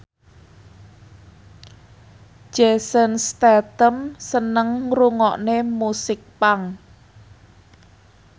Jason Statham seneng ngrungokne musik punk